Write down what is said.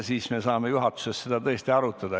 Siis me saame juhatuses seda kõike arutada.